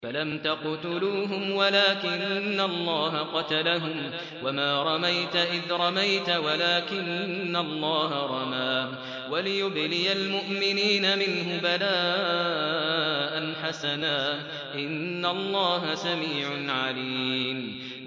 فَلَمْ تَقْتُلُوهُمْ وَلَٰكِنَّ اللَّهَ قَتَلَهُمْ ۚ وَمَا رَمَيْتَ إِذْ رَمَيْتَ وَلَٰكِنَّ اللَّهَ رَمَىٰ ۚ وَلِيُبْلِيَ الْمُؤْمِنِينَ مِنْهُ بَلَاءً حَسَنًا ۚ إِنَّ اللَّهَ سَمِيعٌ عَلِيمٌ